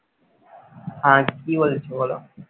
আর কি বলছো বলো?